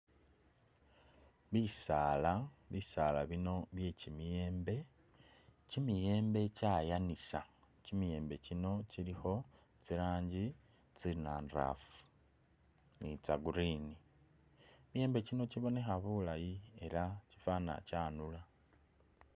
Bisaala, bisaala bino bye kyi miyembe, kyi miyembe kyayanisa, kyi miyembe kyi no kyilikho tsi rangi tsi nandaafu ni tsa green, kyi miyembe kyino kyibonekha bulayi ela kyifana kya nula.